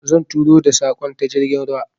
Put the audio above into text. Zan aiko da saƙon ta jirgin ruwa.